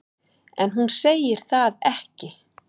En hún segir það ekki.